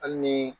Hali ni